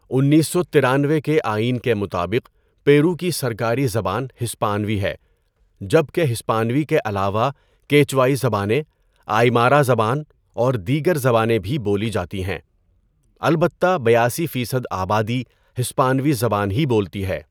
انیس سو تیانوے کے آئین کے مطابق، پیرو کی سرکاری زبان ہسپانوی ہے جبکہ ہسپانوی کے علاوہ کیچوائی زبانیں، آئیمارا زبان اور دیگر زبانیں بھی بولی جاتی ہیں۔ البتہ بیاسی فیصد آبادی ہسپانوی زبان ہی بولتی ہے۔